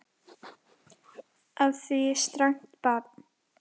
Á því strangt bann.